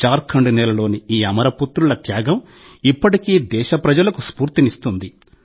జార్ఖండ్ నేలలోని ఈ అమర పుత్రుల త్యాగం ఇప్పటికీ దేశప్రజలకు స్ఫూర్తినిస్తుంది